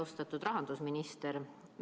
Austatud rahandusminister!